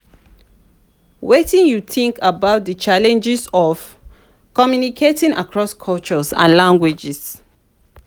wetin you think about di challenges of communicating across cultures and languages?